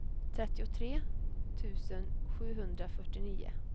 trettiotre tusen sjuhundrafyrtionio